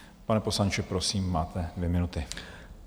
Pane poslanče, prosím, máte dvě minuty.